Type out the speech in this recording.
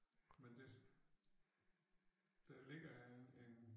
Men det det vel ikke øh en